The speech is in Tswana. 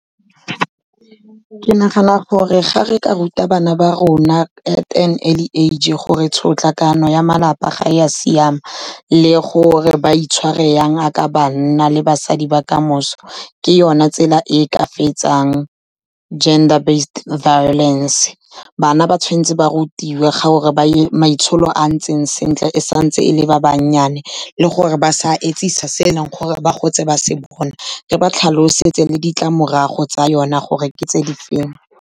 Ke nagana gore ga re ka ruta bana ba rona at an early age gore tshotlakako ya malapa ga ya siama, le gore ba itshware jang ya ka banna le basadi ba kamoso, ke yona tsela e e ka fetsang gender based violance. Bana ba tshwan'tse ba rutiwe gore maitsholo a ntseng sentle e santse e le ba banyane, le gore ba sa etsisa se e leng gore ba gotse ba se bona, re ba tlhalosetse le ditlamorago tsa yona gore ke tse di feng.